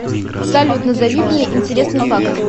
салют назови мне интересный факт